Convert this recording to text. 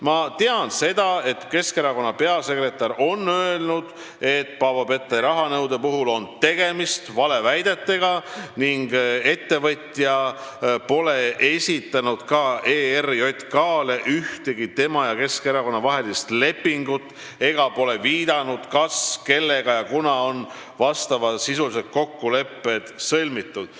Ma tean, et Keskerakonna peasekretär on öelnud, et Paavo Pettai rahanõude puhul on tegemist valeväidetega ning ettevõtja pole esitanud ERJK-le ühtegi tema ja Keskerakonna vahelist lepingut ega pole viidanud, kas, kellega ja kunas on need kokkulepped sõlmitud.